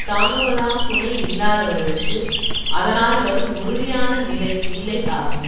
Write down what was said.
தாங்குவதாம் துணை இல்லாதவர்களுக்கு அதனால் வரும் உறுதியான நிலை இல்லை ஆகும்